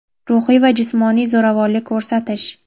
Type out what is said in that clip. ruhiy va jismoniy zo‘ravonlik ko‘rsatish;.